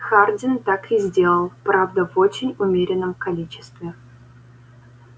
хардин так и сделал правда в очень умеренном количестве